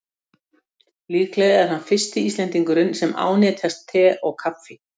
Líklega er hann fyrsti Íslendingurinn sem ánetjast te og kaffi.